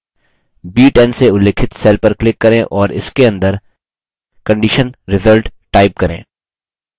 b10 से उल्लिखित cell पर click करें और इसके अंदर condition result type करें